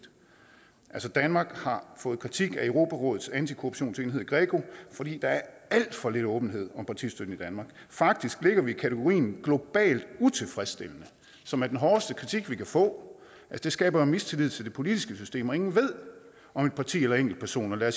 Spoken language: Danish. danmark har fået kritik af europarådets antikorruptionsenhed greco fordi der er alt for lidt åbenhed om partistøtten i danmark faktisk ligger vi i kategorien globalt utilfredsstillende som er den hårdeste kritik vi kan få det skaber jo mistillid til det politiske system og ingen ved om et parti eller enkeltpersoner lader